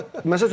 Nərd.